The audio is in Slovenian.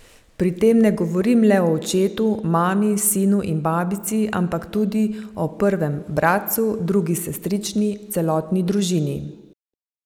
Pri tem ne govorim le o očetu, mami, sinu in babici, ampak tudi o prvem bratrancu, drugi sestrični, celotni družini.